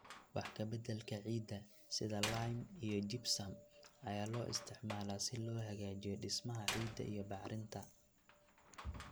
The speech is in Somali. Wax ka beddelka ciidda, sida lime iyo gypsum, ayaa loo isticmaalaa si loo hagaajiyo dhismaha ciidda iyo bacrinta.